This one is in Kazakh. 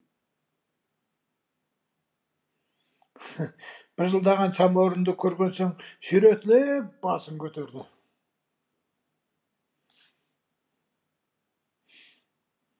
быжылдаған самаурынды көрген соң сүйретіліп басын көтерді